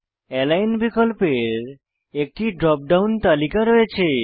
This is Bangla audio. অ্যালিগন বিকল্পের একটি ড্রপ ডাউন তালিকা রয়েছে